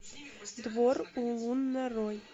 двор улун нарой